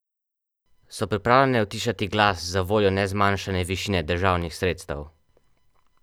So pripravljene utišati glas zavoljo nezmanjšane višine državnih sredstev?